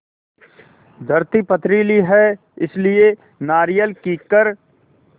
धरती पथरीली है इसलिए नारियल कीकर